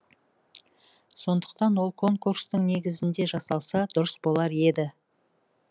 сондықтан ол конкурстық негізде жасалса дұрыс болар еді